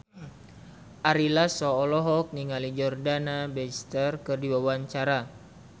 Ari Lasso olohok ningali Jordana Brewster keur diwawancara